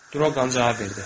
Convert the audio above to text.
Draqon cavab verdi.